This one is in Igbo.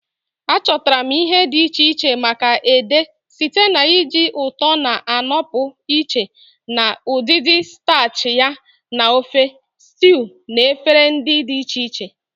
Achọtara m ihe dị iche iche maka ede site na iji ụtọ na-anọpụ iche na udidi starchy ya na ofe, stews, na efere dị iche iche.